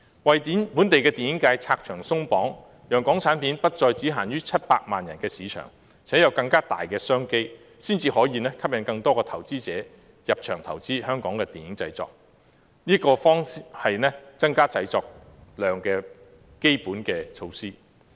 為本地電影界拆牆鬆綁，讓港產片不再只限於700萬人的市場，並提供更大的商機，才能吸引更多投資者入場投資香港的電影製作，這才是增加製作量的基本措施。